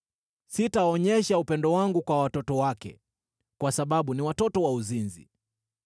Sitaonyesha upendo wangu kwa watoto wake, kwa sababu ni watoto wa uzinzi.